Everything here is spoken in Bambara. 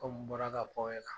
n bɔra ka fɔ aw ɲɛna.